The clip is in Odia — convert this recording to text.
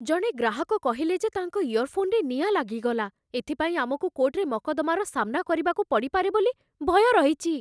ଜଣେ ଗ୍ରାହକ କହିଲେ ଯେ ତାଙ୍କ ଇୟର୍‌ଫୋନ୍‌ରେ ନିଆଁ ଲାଗିଗଲା । ଏଥିପାଇଁ ଆମକୁ କୋର୍ଟ୍‌ରେ ମକଦ୍ଦମାର ସାମ୍ନା କରିବାକୁ ପଡ଼ିପାରେ ବୋଲି ଭୟ ରହିଛି ।